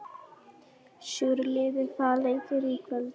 Sigurliði, hvaða leikir eru í kvöld?